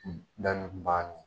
Dan